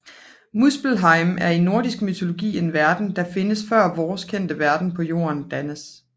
Muspelheim er i nordisk mytologi en verden der findes før vores kendte verden på jorden dannes